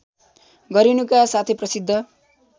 गरिनुका साथै प्रसिद्ध